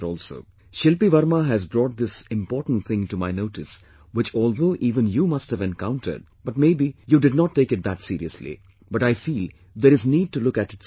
Shilpi Varma has brought this important thing to my notice, which although even you must have encountered, but may be you did not take it that seriously, but I feel there is need to look at it seriously